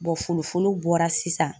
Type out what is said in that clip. folofolo bɔra sisan.